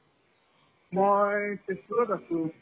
মই তেজপুৰত আছো ।